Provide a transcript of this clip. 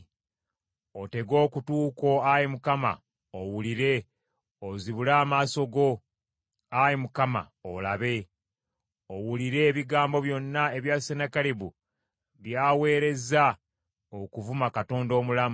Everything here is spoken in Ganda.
Otege okutu kwo Ayi Mukama owulire, ozibule amaaso go, Ayi Mukama , olabe: owulire ebigambo byonna ebya Sennakeribu by’aweerezza okuvuma Katonda omulamu.